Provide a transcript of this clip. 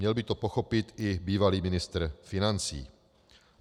Měl by to pochopit i bývalý ministr financí.